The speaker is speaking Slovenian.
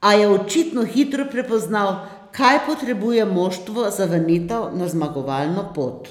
a je očitno hitro prepoznal, kaj potrebuje moštvo za vrnitev na zmagovalno pot.